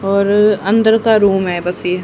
और अंदर का रूम है बस ये--